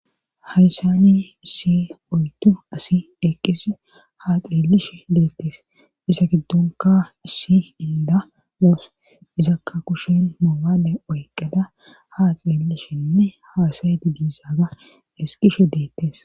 hayssani isi oytu asi eqqis ha xeellishe deettes isa giddonka issi inda oos izakka kushen moobade oyqqada haa xeellishenne haasayeti diisaaga esqishe deettes